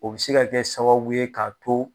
O bi se ka kɛ sababu ye k'a to